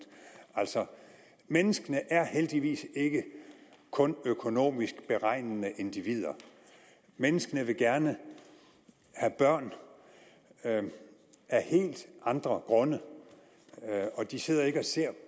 altså menneskene er heldigvis ikke kun økonomisk beregnende individer menneskene vil gerne have børn af helt andre grunde og de sidder ikke og ser